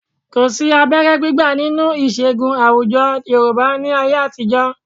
Kò sí abẹ́rẹ́ gbígbà nínú ìṣègùn àwùjọ Yorùbá ní ayé àtijọ́.